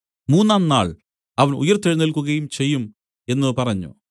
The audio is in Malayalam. മൂന്നാം നാൾ അവൻ ഉയിർത്തെഴുന്നേൽക്കുകയും ചെയ്യും എന്നു പറഞ്ഞു